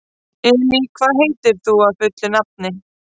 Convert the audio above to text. Elí, hvað heitir þú fullu nafni?